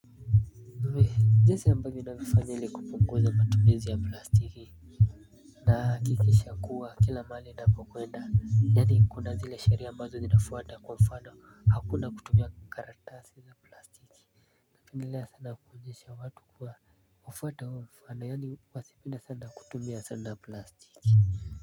Jinsi unavyopunguza matumizi ya plastiki. Nahakikisha kuwa kila mahali ninapokwenda yani kuna zile sheria ambazo nimefuata kwa mfano hakuna kutumia karatasi za plastiki. Napendelea sana kuonyesha watu kufuata mfano yani wasipenda sana kutumia plastiki.